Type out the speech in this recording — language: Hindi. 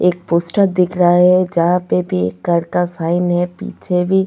एक पोस्टर दिख रहा है जहां पे भी एक कर का साइन है पीछे भी.